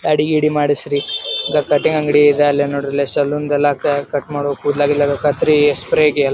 ದಾಡಿ ಗಿಡಿ ಮಾಡ್ಸರಿ ಗ ಕಟಿಂಗ್ ಅಂಗಡಿ ಇದ ಅಲ್ಲಿ ನೋಡ್ರಿ ಸಲೂನ್ ದೆಲ್ಲಾ ಕ ಕಟ್ ಮಾಡು ಕೂದಲ ಗೀಡ್ಲಾ ಕತ್ರಿ ಸ್ಪ್ರೇ ಗಿ ಯಲ್ಲಾ--